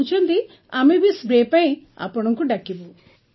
କହୁଛନ୍ତି ଆମେ ବି ସ୍ପ୍ରେ ପାଇଁ ଆପଣଙ୍କୁ ଡାକିବୁ